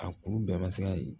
A kuru bɛɛ ma se ka ye